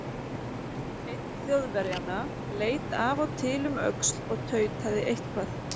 Einn Þjóðverjanna leit af og til um öxl og tautaði eitthvað.